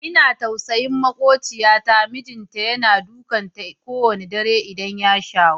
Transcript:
Ina jin tausayin maƙociyata, mijinta yana dukan ta ko wanna dare idan ya shawo.